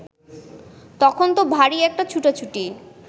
তখন ত ভারি একটা ছুটোছুটি